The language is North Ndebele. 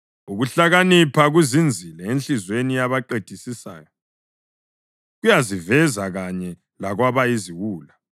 Ukuhlakanipha kuzinzile enhliziyweni yabaqedisisayo, kuyaziveza kanye lakwabayiziwula.